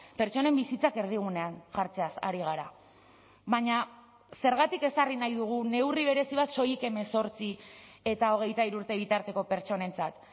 pertsonen bizitzak erdigunean jartzeaz ari gara baina zergatik ezarri nahi dugu neurri berezi bat soilik hemezortzi eta hogeita hiru urte bitarteko pertsonentzat